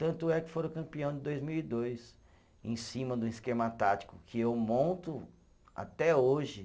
Tanto é que foram campeão em dois mil e dois, em cima de um esquema tático que eu monto até hoje.